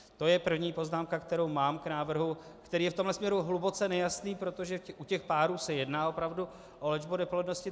To je první poznámka, kterou mám k návrhu, který je v tomhle směru hluboce nejasný, protože u těch párů se jedná opravdu o léčbu neplodnosti.